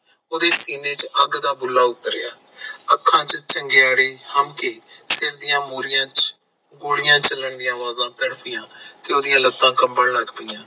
ਓਹਦੇ ਸੀਨੇ ਚ ਅੱਗ ਦਾ ਗੋਲਾ ਉਤਰਿਆ, ਅੱਖਾਂ ਚ ਚੰਗਿਆੜੀ ਹਮਕੀ, ਸਰ ਦੀਆ ਮੋਰੀਆਂ ਚ ਗੋਲੀਆਂ ਚਲਣ ਦੀਆ ਆਵਾਜ਼ ਤੜਫਿਆ, ਤੇ ਓਹਦੀਆਂ ਲੱਤਾਂ ਕੰਬਣ ਲਗ ਪਾਇਆ